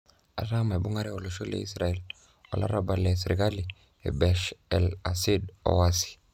Etaa meibungare olosho le Israel olarabal le serikali e Bashar al-Assad o waasi.